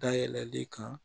Dayɛlɛli kan